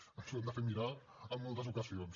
això ens ho hem de fer mirar en moltes ocasions